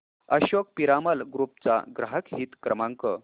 Ashok Piramal group चा ग्राहक हित क्रमांक